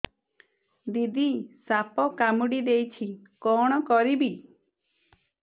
ଦିଦି ସାପ କାମୁଡି ଦେଇଛି କଣ କରିବି